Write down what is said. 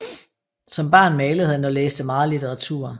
Som barn malede han og læste meget litteratur